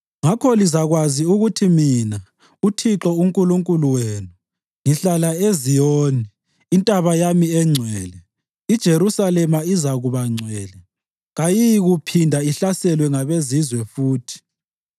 “Ngakho lizakwazi ukuthi mina, uThixo uNkulunkulu wenu, ngihlala eZiyoni, intaba yami engcwele. IJerusalema izakuba ngcwele; kayiyikuphinda ihlaselwe ngabezizweni futhi.